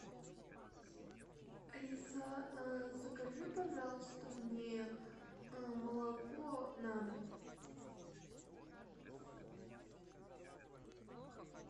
алиса закажи пожалуйста мне молоко на дом